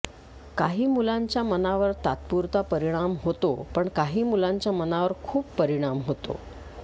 काही मुलांच्या मनावर तात्पुरता परिणाम होतो पण काही मुलांच्या मनावर खूप परिणाम होतो